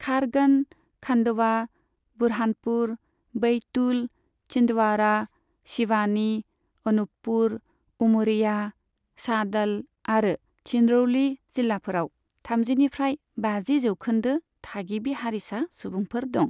खारगन, खान्डवा, बुरहानपुर, बैतुल, छिन्दवाड़ा, सिवानी, अनूपपुर, उमरिया, शाहड'ल आरो सिंरौली जिल्लाफोराव थामजिनिफ्राय बाजि जौखोन्दो थागिबि हारिसा सुबुंफोर दं।